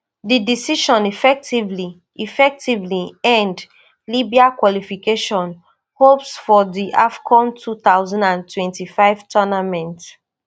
di decision effectively effectively end libya qualification hopes for di afcon two thousand and twenty-five tournament